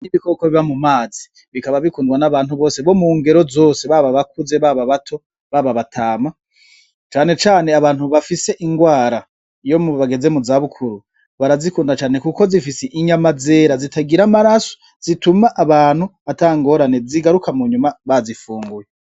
Nibikoko biba mu mazi bikaba bikundwa n'abantu bose bo mu ngero zose baba bakuze baba bato baba batama canecane abantu bafise ingwara iyo mu bageze mu zabukuru barazikunda cane, kuko zifise inyama zera zitagira amaraso zituma abantu atangorane zigaruka mu nyuma bazifunguye.